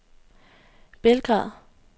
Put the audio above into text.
Belgrad